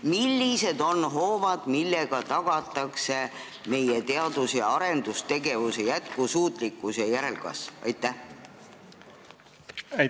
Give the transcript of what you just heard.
Millised on hoovad, millega tagatakse meie teadus- ja arendustegevuse jätkusuutlikkus ja järelkasv selles vallas?